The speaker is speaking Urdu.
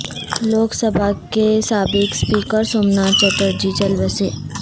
لوک سبھا کے سابق اسپیکرسوم ناتھ چٹرجی چل بسے